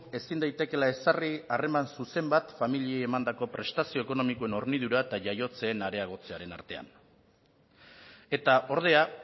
ezin daitekeela ezarri harreman zuzen bat familiei emandako prestazio ekonomikoen hornidura eta jaiotzeen areagotzearen artean eta ordea